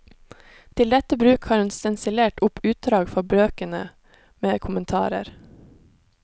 Til dette bruk har hun stensilert opp utdrag fra bøkene, med kommentarer.